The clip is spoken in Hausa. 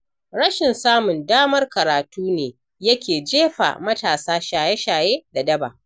Rashin samun damar karatu ne yake jefa matasa shaye-shaye da daba.